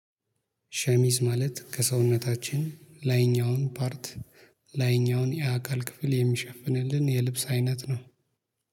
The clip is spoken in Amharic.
ሸሚዝ ማለት ከሰውነታችን ላይኛውን ፓርት ላይኛውን የአካል ክፍል የሚሸፍንልን የልብስ አይነት ነው